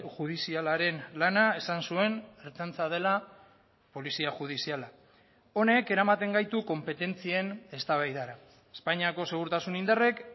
judizialaren lana esan zuen ertzaintza dela polizia judiziala honek eramaten gaitu konpetentzien eztabaidara espainiako segurtasun indarrek